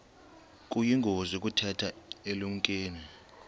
kuyingozi ukutheza elinenkume